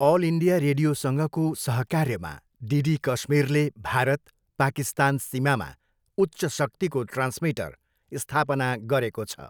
All India रेडियोसँगको सहकार्यमा DD कश्मीरले भारत, पाकिस्तान सीमामा उच्च शक्तिको ट्रान्समिटर स्थापना गरेको छ।